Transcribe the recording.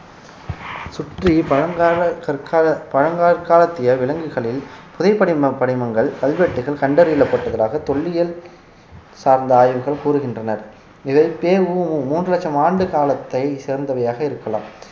சுற்றி பழங்கால கற்கால பழங்கற்காலத்திய விலங்குகளின் புதை படிம~ படிமங்கள் கல்வெட்டுகள் கண்டறியப்பட்டுள்ளதாக தொல்லியல் சார்ந்த ஆய்வுகள் கூறுகின்றனர் இதில் பெ உ மு மூன்று லட்சம் ஆண்டு காலத்தை சேர்ந்தவையாக இருக்கலாம்